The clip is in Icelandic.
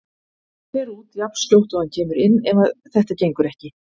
Hann fer út jafnskjótt og hann kemur inn ef þetta gengur ekki.